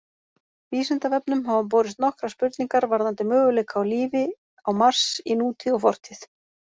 Vísindavefnum hafa borist nokkrar spurningar varðandi möguleika á lífi á Mars í nútíð og fortíð.